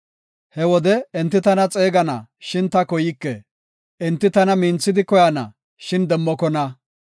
“He wode enti tana xeegana; shin ta koyke; enti tana minthidi koyana; shin demmokona.